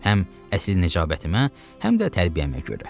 Həm əsl nəcabətimə, həm də tərbiyəmə görə.